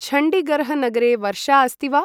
छण्डिगर्ह् नगरे वर्षा अस्ति वा?